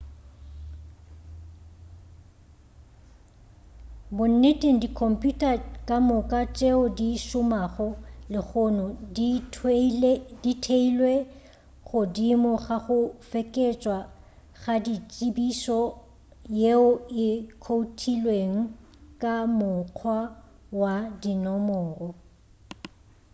bonneteng dikhomputa ka moka tšeo di šomago lehono di theilwe godimo ga go fekeetšwa ga tsebišo yeo e khoutilweng ka mokgwa wa dinomoro